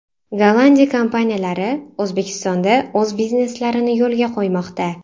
Gollandiya kompaniyalari O‘zbekistonda o‘z bizneslarini yo‘lga qo‘ymoqda.